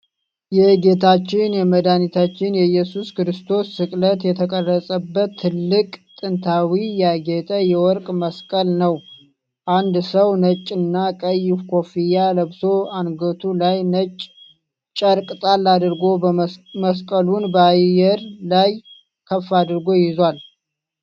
የጌታችን የመድኃኒታችን የኢየሱስ ክርስቶስ ስቅለት የተቀረጸበት ትልቅ፣ ጥንታዊና ያጌጠ የወርቅ መስቀል ነው። አንድ ሰው ነጭና ቀይ ኮፍያ ለብሶ፣ አንገቱ ላይ ነጭ ጨርቅ ጣል አድርጎ መስቀሉን በአየር ላይ ከፍ አድርጎ ይዟል።